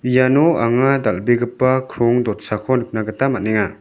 iano anga dal·begipa krong dotsako nikna gita man·enga.